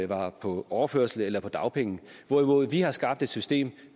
var på overførsel eller på dagpenge hvorimod vi nu har skabt et system